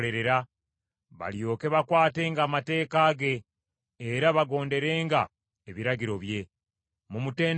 balyoke bakwatenga amateeka ge, era bagonderenga ebiragiro bye. Mumutendereze Mukama .